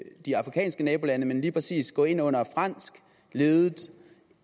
de afrikanske nabolande men lige præcis gå ind under en fransk ledet